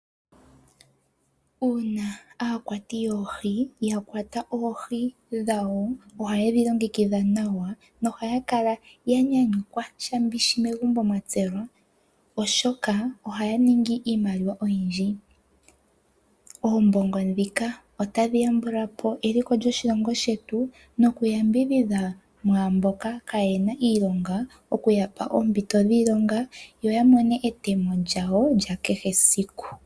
Uuna aakwati yoohi ya kwata oohi dhawo, ohaye dhi longekidha nawa nohaya kala ya nyanyukwa shambishi megumbo mwa tselwa, oshoka ohaya ningi iimaliwa oyindji. Oombongo ndhika otadhi yambula po eliko lyoshilongo shetu, nokuyambidhidha mwaamboka kaayena iilonga okuya pa oompito dhiilonga yo ya mone etemo lyawo lya kehe siku.